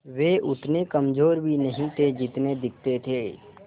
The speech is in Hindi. वे उतने कमज़ोर भी नहीं थे जितने दिखते थे